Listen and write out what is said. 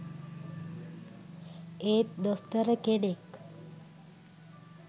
ඒත් දොස්තර කෙනෙක්